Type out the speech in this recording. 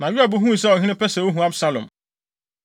Na Yoab huu sɛ ɔhene pɛ sɛ ohu Absalom.